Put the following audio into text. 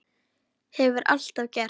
Hefur alltaf gert.